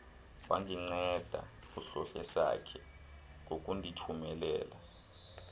wandinceda uhlohlesakhe ngokundithumelela